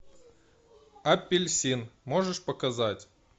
апельсин можешь показать